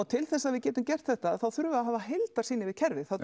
til þess að við getum gert þetta þá þurfum við að hafa heildarsýn yfir kerfið